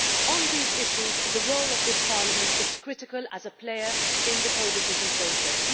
On these issues, the role of this Parliament is critical as a player in the co decision process.